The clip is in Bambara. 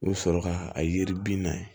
U bɛ sɔrɔ ka a yiri bina